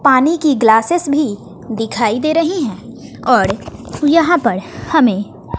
पानी की ग्लासेस भी दिखाई दे रही है और यहां पर हमें--